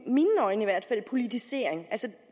i mine øjne politisering